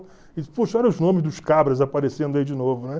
Puxa, olha os nomes dos cabras aparecendo aí de novo, né?